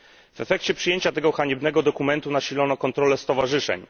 W efekcie przyjęcia tego haniebnego dokumentu nasilono kontrolę stowarzyszeń.